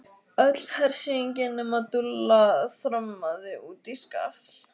Öll hersingin nema Dúlla þrammaði út í skafl.